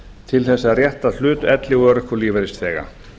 til þess að rétta hlut elli og örorkulífeyrisþega